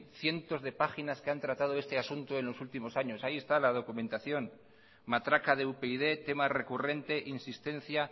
cientos de páginas que han tratado el asunto en los últimos años ahí está la documentación matraca de upyd tema recurrente insistencia